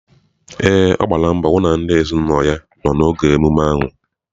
Ee, ọ gbara mbọ hụ na ndị ezinụlọ ya nọ n'oge emume ahụ.